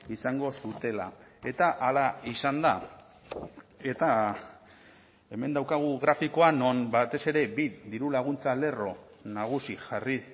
izango zutela eta hala izan da eta hemen daukagu grafikoa non batez ere bi dirulaguntza lerro nagusi jarri